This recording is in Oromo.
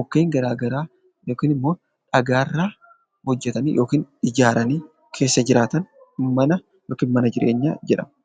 mukkeen garaa garaa yookiin immoo dhagaa irraa hojjetanii yookiin ijaaranii keessa jiraatan 'Mana yookiin mana jireenyaa' jedhama.